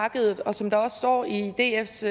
markedet og som der også står i dfs